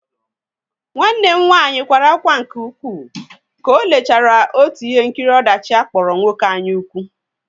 Nwanne m nwanyị kwara ákwá nke ukwuu ka ọ lechara otu ihe nkiri ọdachi akpọrọ Nwoke anyaukwu.